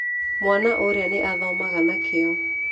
Mwana ũrĩa nĩ athomaga na kĩyo.